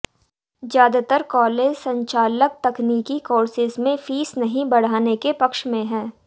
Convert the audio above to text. ज्यादातर कॉलेज संचालक तकनीकी कोर्सेस में फीस नहीं बढ़ाने के पक्ष में हैं